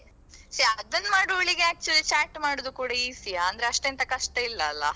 ಚ್ಯಾ ಅದನ್ನ್ ಮಾಡುವವಳಿಗೆ actually chat ಮಾಡುದು ಕೂಡ easy ಅಂದ್ರೆ ಅಷ್ಟೆಂತ ಕಷ್ಟ ಇಲ್ಲಲ್ಲಾ.